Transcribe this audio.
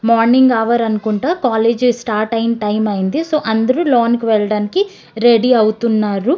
Morning hour అనుకుంట college start ఆయె time అయింది సో అందరు లోనికి వెళ్ళడానికి రెడీ అవుతున్నారు.